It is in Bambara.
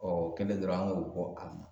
o kɛlen dɔrɔn an k'o